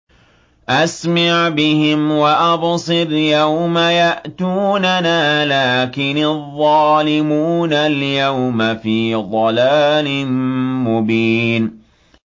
أَسْمِعْ بِهِمْ وَأَبْصِرْ يَوْمَ يَأْتُونَنَا ۖ لَٰكِنِ الظَّالِمُونَ الْيَوْمَ فِي ضَلَالٍ مُّبِينٍ